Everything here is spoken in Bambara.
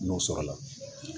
N'o sɔrɔla